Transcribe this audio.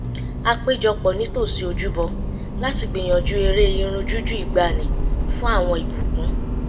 a péjọ pọ̀ nítòsí ojúbọ láti gbìyànjú eré irin jújù ìgbaanì fún àwọn ìbùkún